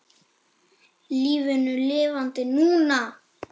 LÍFINU LIFANDI NÚNA!